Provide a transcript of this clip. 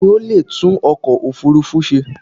Ta ni o leè tún ọkọ̀ òfurufú se?